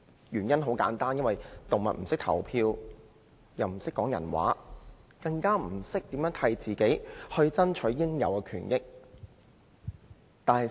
原因很簡單，動物不懂得投票，亦不懂得說人話，更不懂得為自己爭取應有的權益。